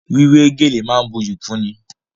Wíwé gèlè máa ń buyì kúnni.